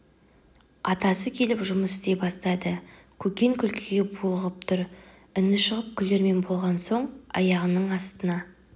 атасы келіп жұмыс істей бастады көкен күлкіге булығып тұр үні шығып күлермен болған соң аяғының астына